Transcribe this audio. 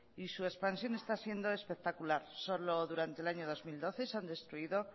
y su expansión está siendo espectacular solo durante el año dos mil doce se han destruido